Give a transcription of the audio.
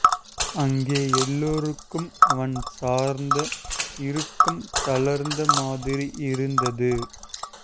அங்கே எல்லோருக்கும் அவன் சார்ந்த இறுக்கம் தளர்ந்த மாதிரி இருந்தது